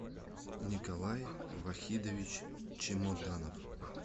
николай вахидович чемоданов